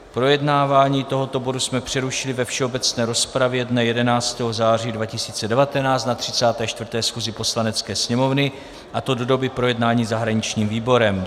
Projednávání tohoto bodu jsme přerušili ve všeobecné rozpravě dne 11. září 2019 na 34. schůzi Poslanecké sněmovny, a to do doby projednání zahraničním výborem.